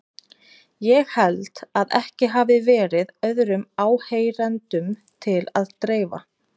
Ég held að ekki hafi verið öðrum áheyrendum til að dreifa.